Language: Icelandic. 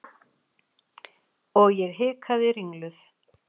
Og ég hikaði ringluð.